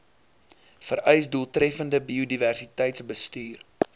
vereis doeltreffende biodiversiteitsbestuur